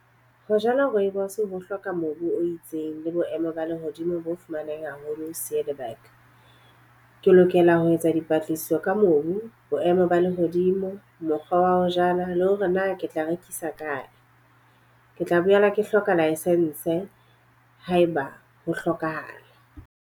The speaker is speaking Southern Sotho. Ho jala rooibos ho hloka mobu o itseng le boemo ba lehodimo bo fumaneng haholo . Ke lokela ho etsa dipatlisiso ka mobu, boemo ho ba lehodimo, mokgwa wa ho jala le hore na ke tla rekisa kae. Ke tla boela ke hloka license haeba ho hlokahala.